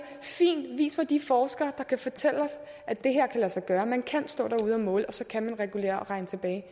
fint vis mig de forskere der kan fortælle os at det kan lade sig gøre at man kan stå derude og måle og så kan regulere og regne tilbage